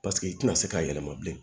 Paseke i tɛna se k'a yɛlɛma bilen